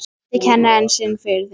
Kynnti kennara sinn fyrir þeim.